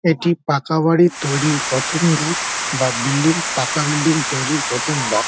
এটি পাকা বাড়ির তৈরির প্রথম ধাপ বা বিল্ডিং পাকা বিল্ডিং তৈরির প্রথম ধাপ ।